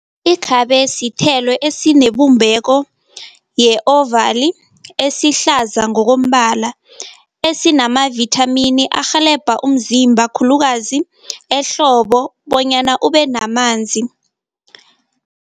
Ikhabe sithelo esinebumbeko ye-ovali esihlaza ngokombala, esinamavithamini arhelebha umzimba khulukazi ehlobo bonyana ubenamanzi.